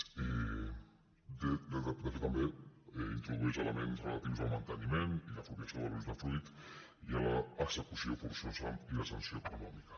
de fet també introdueix elements relatius al manteniment i l’apropiació de l’usdefruit i a l’execució forçosa i la sanció econòmica